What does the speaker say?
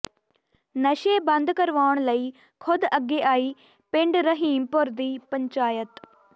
ਨਸ਼ੇ ਬੰਦ ਕਰਵਾਉਣ ਲਈ ਖ਼ੁਦ ਅੱਗੇ ਆਈ ਪਿੰਡ ਰਹੀਮਪੁਰ ਦੀ ਪੰਚਾਇਤ